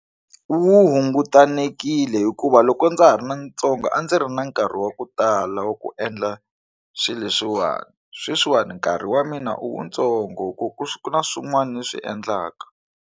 Wu hungutanekile hikuva loko ndza ha ri ntsongo a ndzi ri na nkarhi wa ku tala wa ku endla swilo swiwani sweswiwani nkarhi wa mina i wu ntsongo ku ku ku na swin'wana ni swi endlaka.